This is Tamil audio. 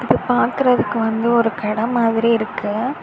இது பாக்குறதுக்கு வந்து ஒரு கட மாதிரி இருக்கு.